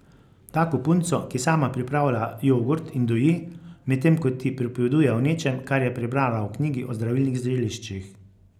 Tako punco, ki sama pripravlja jogurt in doji, medtem ko ti pripoveduje o nečem, kar je prebrala v knjigi o zdravilnih zeliščih.